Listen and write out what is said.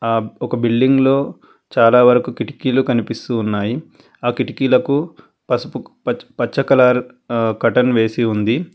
ఒక బిల్డింగ్లో చాలావరకు కిటికీలు కనిపిస్తూ ఉన్నాయి అకిటికీలకు పసుపు పచ్చ కలర్ కర్టన్ వేసి ఉంది.